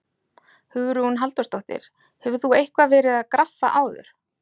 Hugrún Halldórsdóttir: Hefur þú eitthvað verið að graffa áður?